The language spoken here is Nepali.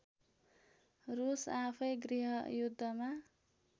रुस आफैँ गृहयुद्धमा